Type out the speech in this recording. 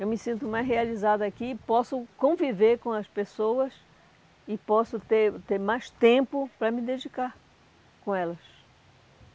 Eu me sinto mais realizada aqui, posso conviver com as pessoas e posso ter ter mais tempo para me dedicar com elas.